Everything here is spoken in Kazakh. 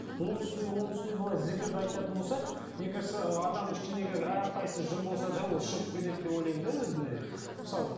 оның үстіне оның үстіне былай зікірді айтатын болса мне кажется адамның ішіндегі әрқайсысы жын болса ол шығып кетеді деп ойлаймын да мысалы